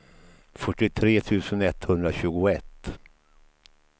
fyrtiotre tusen etthundratjugoett